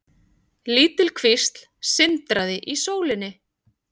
Lítil kvísl sindraði í sólinni.